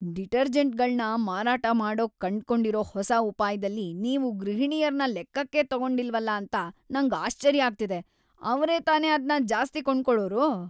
ಡಿಟರ್ಜೆಂಟ್ಗಳ್ನ ಮಾರಾಟ ಮಾಡೋಕ್‌ ಕಂಡ್ಕೊಂಡಿರೋ ಹೊಸ ಉಪಾಯ್ದಲ್ಲಿ ನೀವು ಗೃಹಿಣಿಯರ್ನ ಲೆಕ್ಕಕ್ಕೇ ತಗೊಂಡಿಲ್ವಲ ಅಂತ ನಂಗ್ ಆಶ್ಚರ್ಯ ಆಗ್ತಿದೆ, ಅವ್ರೇ ತಾನೇ ಅದ್ನ ಜಾಸ್ತಿ ಕೊಂಡ್ಕೊಳೋರು!